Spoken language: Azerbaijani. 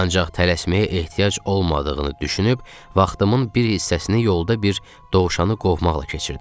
Ancaq tələsməyə ehtiyac olmadığını düşünüb vaxtımın bir hissəsini yolda bir dovşanı qovmaqla keçirdim.